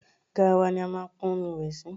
Garawa ni a máa pọn omi ìwẹ̀ sí.